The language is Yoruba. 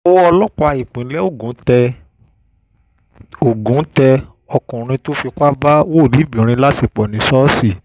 ọwọ ọlọ́pàá ìpínlẹ̀ ògùn tẹ ògùn tẹ ọkùnrin tó fipá bá wòlíìbirin láṣẹpọ̀ ní ṣọ́ọ̀ṣì